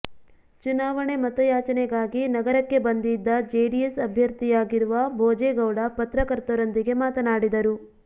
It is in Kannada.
ಚುನಾವಣೆ ಮತಯಾಚನೆಗಾಗಿ ನಗರಕ್ಕೆ ಬಂದಿದ್ದ ಜೆಡಿಎಸ್ ಅಭ್ಯರ್ಥಿಯಾಗಿರುವ ಭೋಜೆ ಗೌಡ ಪತ್ರಕರ್ತರೊಂದಿಗೆ ಮಾತನಾಡಿದರು